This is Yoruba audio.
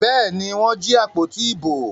Bẹ́ẹ̀ ni, wọ́n jí àpótí ìbò.